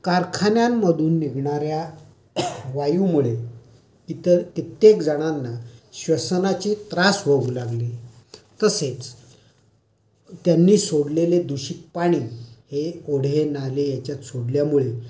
कारखान्यांमधून निघणार् या वायुमुळे इतर कित्येक जणांना श्वसनाचे त्रास होऊ लागले. तसेच, त्यांनी सोडलेले दूषित पाणी हे ओढे, नाले याच्यात सोडल्यामुळे...